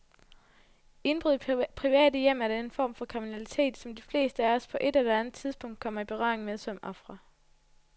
Indbrud i private hjem er den form for kriminalitet, som de fleste af os på ét eller andet tidspunkt kommer i berøring med som ofre.